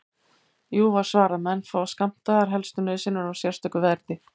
Jú, var svarað, menn fá skammtaðar helstu nauðsynjar á sérstöku verði.